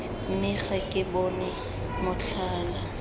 mme ga ke bone motlhala